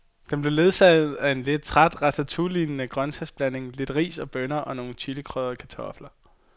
Den blev ledsaget af en lidt træt ratatouillelignende grøntsagsblanding, lidt ris og bønner og nogle chilikrydrede kartofler.